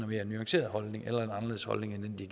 mere nuanceret holdning eller en anderledes holdning end den de